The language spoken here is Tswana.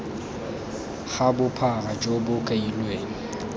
ga bophara jo bo kailweng